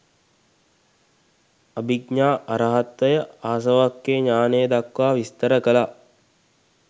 අභිඥා අරහත්වය ආසවක්ඛය ඤාණය දක්වා විස්තර කළා.